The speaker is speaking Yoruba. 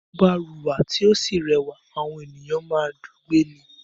Tí ọmọ bá wúra tí ó sì rẹwà, àwọn ènìyàn má ń dùú gbé ni